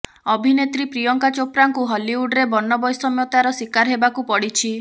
ଅଭିନେତ୍ରୀ ପ୍ରିୟଙ୍କା ଚୋପ୍ରାଙ୍କୁ ହଲିଉଡରେ ବର୍ଣ୍ଣବୈଷମ୍ୟତାର ଶିକାର ହେବାକୁ ପଡ଼ିଛି